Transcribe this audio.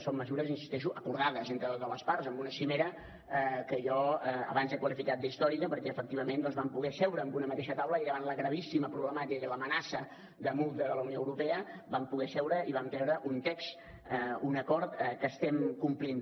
són mesures hi insisteixo acordades entre totes les parts en una cimera que jo abans he qualificat d’històrica perquè efectivament doncs vam poder seure en una mateixa taula i davant la gravíssima problemàtica i l’amenaça de multa de la unió europea vam treure un text un acord que estem complint